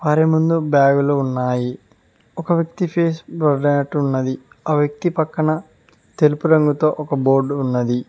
వారి ముందు బ్యాగులు ఉన్నాయి ఒక వ్యక్తి ఫేస్ బ్లర్ అయినట్టు ఉన్నది ఆ వ్యక్తి పక్కన తెలుపు రంగుతో ఒక బోర్డు ఉన్నది.